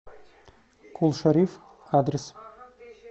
кул шариф адрес